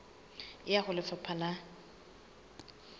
e ya ho lefapha la